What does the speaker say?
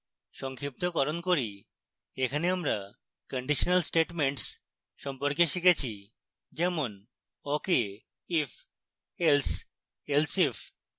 সংক্ষিপ্তকরণ করি এখানে আমরা conditional statements সম্পর্কে শিখেছি যেমন: